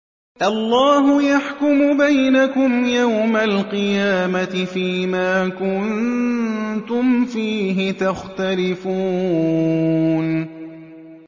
اللَّهُ يَحْكُمُ بَيْنَكُمْ يَوْمَ الْقِيَامَةِ فِيمَا كُنتُمْ فِيهِ تَخْتَلِفُونَ